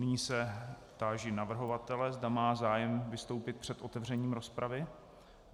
Nyní se táži navrhovatele, zda má zájem vystoupit před otevřením rozpravy.